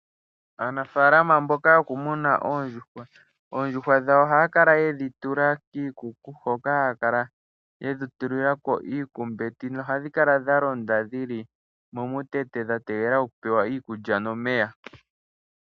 Aanafaalama mboka yokumuna oondjuhwa. Oondjuhwa dhawo ohaaa kala yedhi tula kiikuku hoka haakala yedhi tulilako iikumbeti nohadhikala momutete dhategelela okupewa iikulya nomeya.